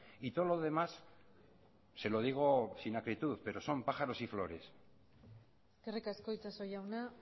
y todo lo demás se lo digo sin acritud pero son pájaros y flores eskerrik asko itxaso jauna